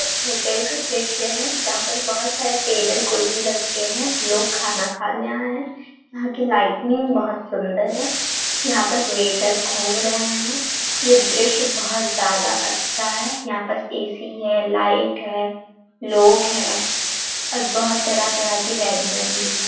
एक होटेल का दृश्य है जहाँ पर बहुत सारे टेबल कुर्सी रखे है लोग खाना खाने आये है यहाँ की लाइटनिंग बहुत सुंदर है यहाँ पास वेटर घूम रहे है यह दृश्य बहुत ज्यादा अच्छा है यहाँ पास ए.सी. है लाइट है लोग है और बहुत तरह - तरह के व्यंजन भी हैं ।